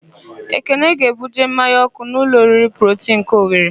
Ekene ga-ebuje mmanya ọ́kụ́ n'ụlọ oriri Protii nke Owere.